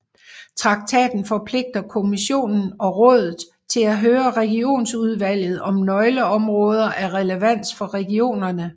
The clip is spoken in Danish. Traktaten forpligter Kommissionen og Rådet til at høre Regionsudvalget om nøgleområder af relevans for regionerne